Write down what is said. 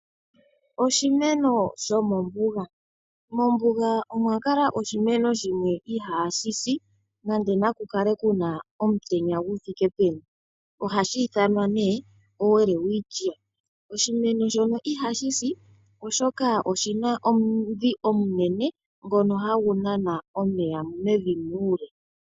Oshimeno shomombuga, mombuga omwa kala oshimeno shimwe ihashi si nande naku kale kuna omutenya gu thike peni. Ohashi ithanwa nee oWelwitschia, oshimeno shino ihashi si, oshoka oshina omudhi omunene ngono hagu nana omeya mevi muule.